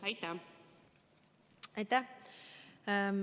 Aitäh!